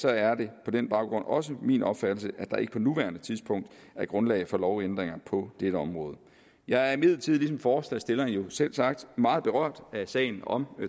er det på den baggrund også min opfattelse at der ikke på nuværende tidspunkt er grundlag for lovændringer på det område jeg er imidlertid ligesom forslagsstillerne selvsagt meget berørt af sagen om